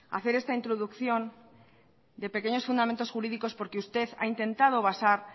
hacer esta introducción de pequeños fundamentos jurídicos porque usted ha intentado basar